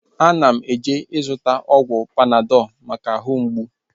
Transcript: Ana m eje ịzụta ọgwụ Panadọl maka ahụ mgbụ